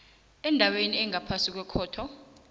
endaweni engaphasi kwekhotho